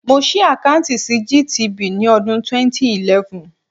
Mo ṣí àkáùntì sí GTB ní ọdún 2011.